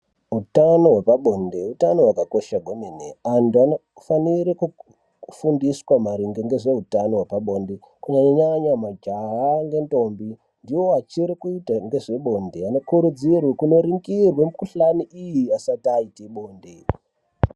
Utano wepabonde utano wakakosha kwemene, antu anofanire kufundiswa maringe ngezve utano wepa bonde kunyanya nyanya majaha nentombi ndiwo achiri kuita ngezve bonde, anokurudzirwe kunoringirwe mikhuhlani iyi asati aite bonde.